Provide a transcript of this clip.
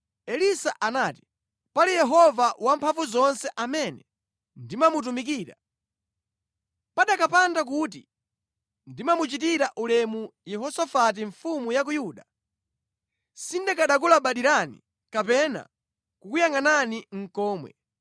Elisa anati, “Pali Yehova Wamphamvuzonse amene ndimamutumikira, pakanapanda kuti ndimamuchitira ulemu Yehosafati mfumu ya ku Yuda, sindikanakulabadirani kapena kukuyangʼanani nʼkomwe.